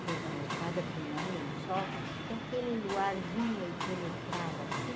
Tuas almofadas punha um lençol e aquele luar vinha e penetrava assim.